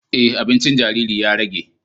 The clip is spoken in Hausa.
E, abincin jariri ya rage